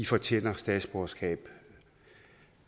fortjener statsborgerskab